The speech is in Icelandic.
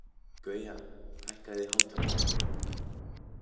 Gauja, hækkaðu í hátalaranum.